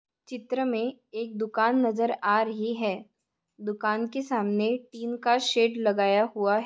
चित्र मे एक दुकान नजर आ रही है दुकान के सामने टिन का शेड लगाया हुआ--